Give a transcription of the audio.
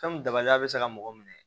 Fɛn min dabali bɛ se ka mɔgɔ minɛ